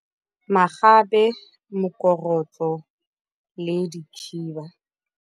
Magabe, mokorotlo le dikhiba.